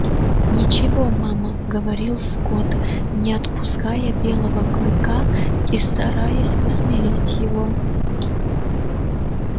ничего мама говорил скотт не отпуская белого клыка и стараясь усмирить его